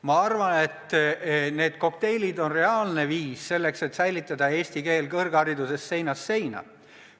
Ma arvan, et need kokteilid on reaalne viis selleks, et säilitada eesti keel kõrghariduses seinast seina.